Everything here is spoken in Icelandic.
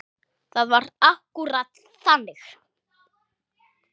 Það var akkúrat þannig.